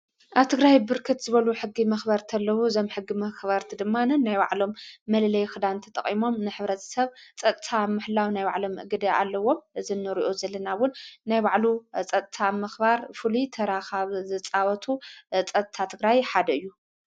ኣብ ትግራይ ብርክት ዝበሉ ሕጊ መኽበር እንተለዉ ዘም ሕጊ መኽበርቲ ድማንን ናይ ባዕሎም መልለይ ኽዳንቲ ጠቕሞም ንኅብረት ሰብ ጸታ ምሕላው ናይ ዋዕሎም እግድ ኣለዎም ዘነርኦ ዘለናውን ናይ ባዕሉ ጸታ መኽባር ፉሉ ተራኻብ ዝጻበቱ ጸቲ ኣትግራይ ሓደ እዩ።